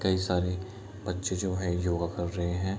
कई सारे बच्चे जो हैं योगा कर रहे हैं।